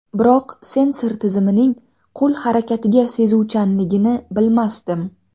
Biroq sensor tizimining qo‘l harakatiga sezuvchanligini bilmasdim.